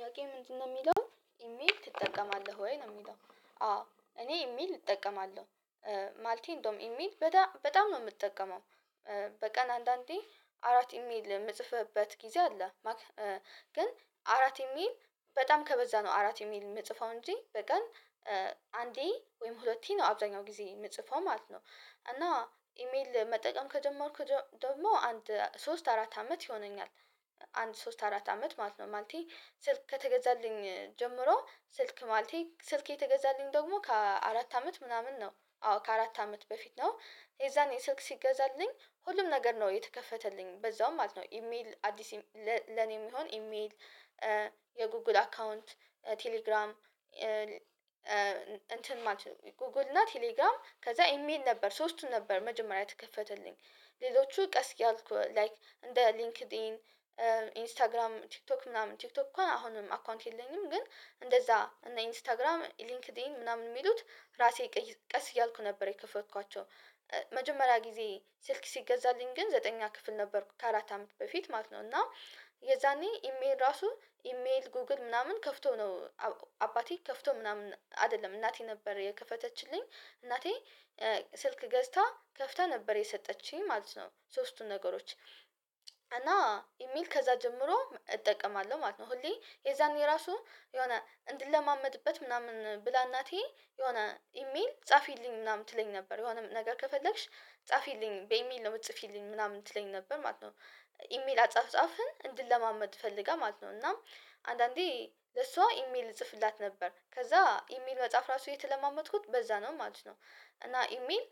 ያው ምንድነው የሚለው ኢሜል ትጠቀማለህ ወይ ነው? የሚለው አዎ እኔ ኢሜል እጠቀማለሁ ማለቴ እንደውም ኢሚይል በጣም ነው የምጠቀመው። በቀን አንዳንዴ አራት ኢሜይል የምጽፍህበት ጊዜ አለ። ግን አራት ኢሜል በጣም ከበዛ ነው አራት ኢሜል የምጽፈው እንጂ በቀን አንዴ ወይም ሁለቴ ነው አብዛኛው ጊዜ የምጽፈው ማለት ነው። እና ኢሜል መጠቀም ከጀመርኩ ደግሞ አንድ ሶስት አራት አመት ይሆነኛል። አንድ ሶስት አራት አመት ማለት ነው። ማለቴ ስልክ ከተገዛልኝ ጀምሮ ስልክ ማለቴ ስልክ የተገዛልኝ ደግሞ ከአራት አመት ምናምን ነው አዎ ከአራት አመት በፊት ነው የዛኔ ስልክ ሲገዛልኝ ሁሉም ነገር ነው የተከፈተልኝ በዛው ማለት ነው። ኢሜል አዲስ ለኔም ይሁን ኢሜል የጉግል አካውንት ቴሌግራም እንትን ማለት ነው ጎግል እና ቴሌግራም ከዛ ኢሜል ነበር ሶስቱን ነበር መጀመሪያ የተከፈተልኝ። ሌሎቹ ቀስ እያልኩ ላይክ እንደ ሊንክድኢን ኢንስታግራም ቲክቶክ ምናምን ቲክቶክ እንኳ አሁንም አካውንት የለኝም። ግን እንደዛ እና ኢንስታግራም ሊንክድኢን ምናምን የሚሉት ራሴ ቀስ እያልኩ ነበር የክፈትኳቸው። መጀመሪያ ጊዜ ስልክ ሲገዛልኝ ግን ዘጠኛ ክፍል ነበርኩ ከአራት አመት በፊት ማለት ነው። እና የዛኔ ኢሜል ራሱ ኢሜል ጎግል ምናምን ከፍቶ ነው። አባቴ ከፍቶ ምናምን አይደለም እናቴ ነበር የከፈተችልኝ። እናቴ ስልክ ገዝታ ከፍታ ነበር የሰጠችኝ ማለት ነው። ሶስቱን ነገሮች እና ኢሜይል ከዛ ጀምሮ እጠቀማለሁ ማለት ነው። ሁሌ የዛኔ ራሱ የሆነ እንድለማመድበት ምናምን ብላ እናቴ የሆነ ኢሜል ጻፊልኝ ምናምን ትለኝ ነበር የሆነ ነገር ከፈለግሽ ጻፊልኝ በኢሜል ነው የምትጽፊልኝ ምናምን ትለኝ ነበር ማለት ነው። ኢሜል አጻፍጻፍን እንድንለማመድ ፈልጋ ማለት ነው። እና አንዳንዴ ለሷ ኢሜል እጽፍላት ነበር ከዛ ኢሜል መጻፍ ራሱ የተለማመድኩት በዛ ነው ማለት ነው። እና ኢሜል